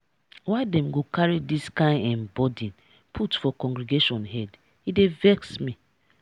why dem go carry dis kain um burden put for congregation head? e dey vex me.